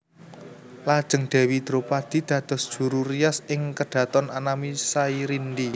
Lajeng Dèwi Dropadi dados juru rias ing kedhaton anami Sairindi